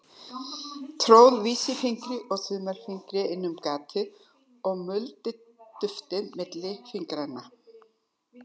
Tróð vísifingri og þumli inn um gatið og muldi duftið milli fingranna.